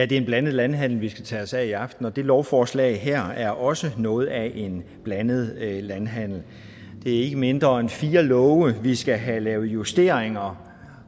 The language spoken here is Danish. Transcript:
det er en blandet landhandel vi skal tage os af i aften og det lovforslag her er også noget af en blandet landhandel det er ikke mindre end fire love vi skal have lavet rettidige justeringer